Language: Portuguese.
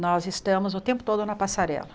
Nós estamos o tempo todo na passarela.